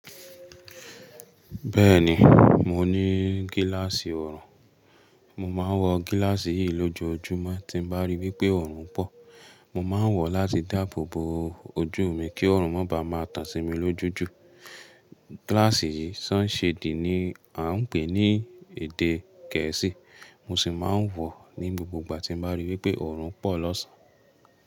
Bẹ́ẹ̀ni, mo ní gíláàsì oorùn. Mo máa ń wọ gíláàsì yìí lójoojúmọ́ tí n bá rí wípé oorun pọ̀. Mo máa ń wọ̀ láti dáàbò bo ojú mi kí ọrùn máa ba máa tan sí mi lójú jù. Gíláàsì yìí sunshade ni à ń pè ní èdè gẹ̀ẹ́sì. Mo sì máa ń wọ̀ ní gbogbo ìgbà tín bá rí wípé ọrùn pọ̀ lọ́sàn-án.